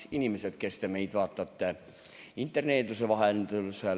Inimesed, kes te meid vaatate interneeduse vahendusel!